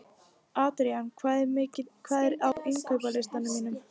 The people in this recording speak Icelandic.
Adrían, hvað er á innkaupalistanum mínum?